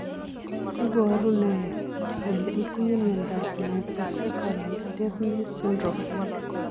Iporu ne kole itinye miondap Microcephaly deafness syndrome?